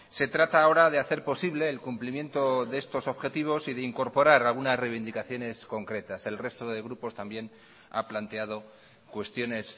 se trata ahora de hacer posible el cumplimiento de estos objetivos y de incorporar algunas reivindicaciones concretas el resto de grupos también ha planteado cuestiones